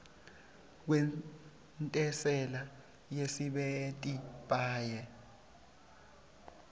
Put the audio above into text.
kwentsela yesisebenti paye